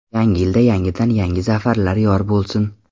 Yangi yilda yangidan-yangi zafarlar yor bo‘lsin!